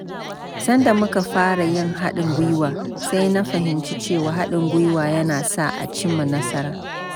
Sanda muka fara yin haɗin gwiwa, sai na fahimci cewa haɗin gwiwa yana sa a cimma nasara.